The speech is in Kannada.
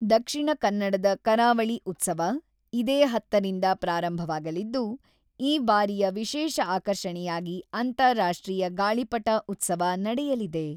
ದಕ್ಷಿಣ ಕನ್ನಡದ ಕರಾವಳಿ ಉತ್ಸವ, ಇದೇ ಹತ್ತುರಿಂದ ಪ್ರಾರಂಭವಾಗಲಿದ್ದು, ಈ ಬಾರಿಯ ವಿಶೇಷ ಆಕರ್ಷಣೆಯಾಗಿ ಅಂತಾರಾಷ್ಟ್ರೀಯ ಗಾಳಿಪಟ ಉತ್ಸವ ನಡೆಯಲಿದೆ.